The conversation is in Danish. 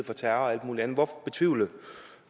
for terror og alt muligt andet hvorfor betvivle